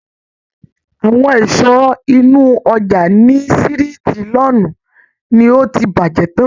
Awọn ìsọ inú ojà ni siriti Lawn ni o ti bàjé tán.